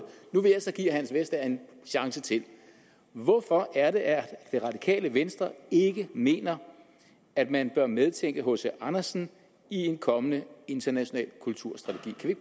nu vil jeg så give herre hans vestager en chance til hvorfor er det at det radikale venstre ikke mener at man bør medtænke hc andersen i en kommende international kulturstrategi